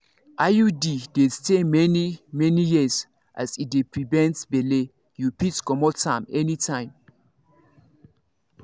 iud dey stay many-many years as e dey prevent belle you fit comot am anytime.